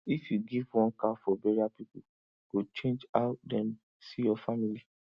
if you give one cow for burial people go change how dem see your family